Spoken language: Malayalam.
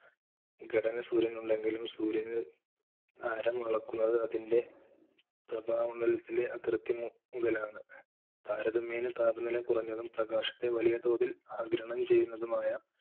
ഘടന സൂര്യൻ ഉണ്ടെങ്കിലും സൂര്യനിൽആരം അളക്കുന്നത് അതിൻറെ പ്രഭാമണ്ഡലത്തിലെ അതിർത്തി മുതലാണ് താരതമ്യേന താപനില കുറഞ്ഞതും പ്രകാശത്തെ വലിയ തോതിൽ ആകീരണം ചെയ്യുന്നതും ആയ,